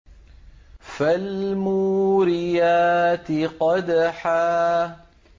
فَالْمُورِيَاتِ قَدْحًا